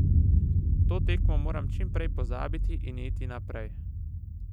To tekmo moram čim prej pozabiti in iti naprej.